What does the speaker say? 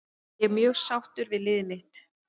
Ég er mjög sáttur við liðið mitt.